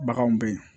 Baganw bɛ yen